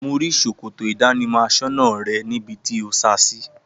Mo rí s̩òkòtò ìdánimọ̀ as̩ó̩nà re̩ níbi tí o sa sí